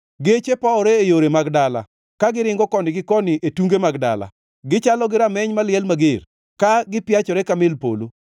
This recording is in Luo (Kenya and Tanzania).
Geche powore e yore mag dala, ka giringo koni gi koni e tunge mag dala. Gichalo gi rameny maliel mager, ka gipiachore ka mil polo.